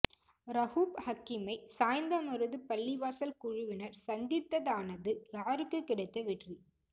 ரவுப் ஹக்கீமை சாய்ந்தமருது பள்ளிவாசல் குழுவினர் சந்தித்ததானது யாருக்கு கிடைத்த வெற்றி